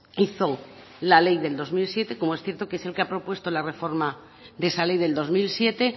hizo la ley del dos mil siete como es cierto que es el que ha propuesto la reforma de esa ley del dos mil siete